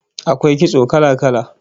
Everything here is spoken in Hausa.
AKwai kitso kala-kala